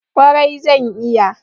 Kwarai zan iya.